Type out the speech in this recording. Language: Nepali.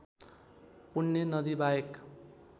पुण्य नदी बाहेक